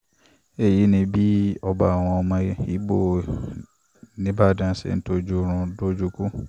èyí ni bí ọba àwọn ọmọ igbó ńìbàdàn ṣe tọ́jú oorun dójú ikú